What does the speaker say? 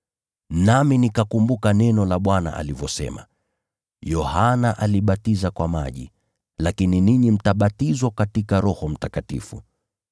Nami nikakumbuka neno la Bwana alivyosema, ‘Yohana alibatiza kwa maji, lakini ninyi mtabatizwa katika Roho Mtakatifu.’